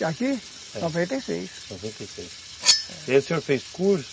Aqui? É. Noventa e seis. E aí o senhor fez curso?